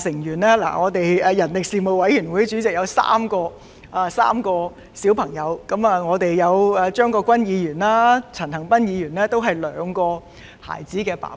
數名成員，包括人力事務委員會主席，他有3名小孩，而張國鈞議員和陳恒鑌議員也是兩個孩子的父親。